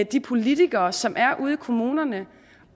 de politikere som er ude i kommunerne